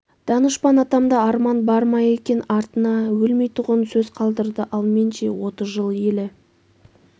данышпан атамда арман бар ма екен артына өлмейтұғын сөз қалдырды ал мен ше отыз жыл елі